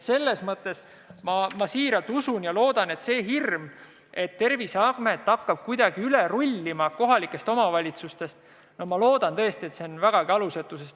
Selles mõttes ma siiralt usun ja loodan, et hirm, et Terviseamet hakkab kohalikest omavalitsustest kuidagi üle rullima, on vägagi alusetu.